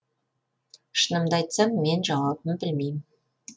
шынымды айтсам мен жауабын білмеймін